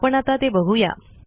आपण आता ते बघू या